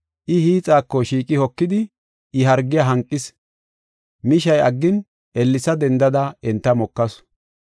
I hiixako shiiqi hokidi I hargiya hanqis. Mishay aggin ellesa dendada enta mokasu.